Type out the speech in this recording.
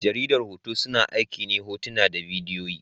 Jaridar hoto, suna aiki ne hotuna da bidiyoyi.